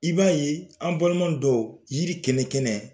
I b'a ye an balima dɔw yiri kɛnɛ kɛnɛ